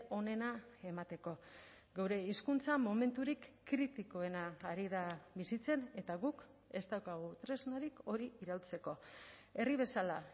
onena emateko geure hizkuntza momenturik kritikoena ari da bizitzen eta guk ez daukagu tresnarik hori iraultzeko herri bezala